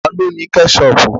Ta ló ní Kẹ́ṣọpù?